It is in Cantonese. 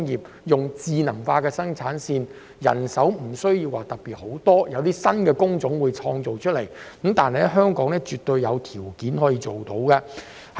運用智能化生產線，將無須太多人手，亦可創造新工種，香港絕對有條件辦到。